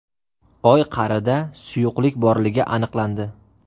Oy qa’rida suyuqlik borligi aniqlandi.